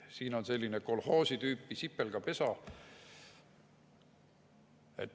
Siin on selline kolhoosi tüüpi sipelgapesa.